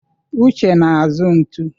Uche na-azụ ntu.